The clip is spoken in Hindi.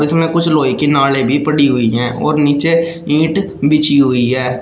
इसमें कुछ लोहे की नाड़े भी पड़ी हुई है और नीचे ईंट बिछी हुई है।